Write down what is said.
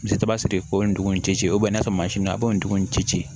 Misali ta sigi ko nin dugu in ci ci n'a sɔrɔ a b'o dugu in ci